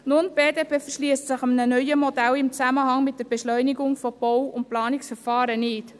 Die BDP verschliesst sich einem neuen Modell für eine Beschleunigung von Bau- und Planungsverfahren nicht.